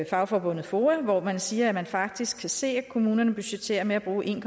fagforbundet foa hvori man siger at man faktisk kan se at kommunerne budgetterer med at bruge en